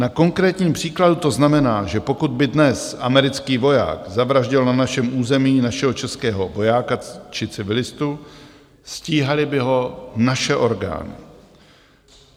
Na konkrétním příkladu to znamená, že pokud by dnes americký voják zavraždil na našem území našeho českého vojáka či civilistu, stíhaly by ho naše orgány.